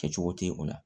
Kɛcogo tɛ o la